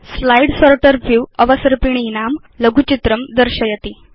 slide sorter view अवसर्पिणीनां लघुचित्रं दर्शयति